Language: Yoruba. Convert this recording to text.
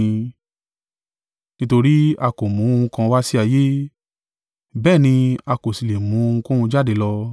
Nítorí a kò mú ohun kan wá sí ayé, bẹ́ẹ̀ ni a kò sì lè mu ohunkóhun jáde lọ.